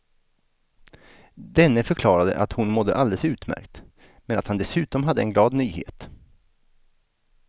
Denne förklarade att hon mådde alldeles utmärkt, men att han dessutom hade en glad nyhet.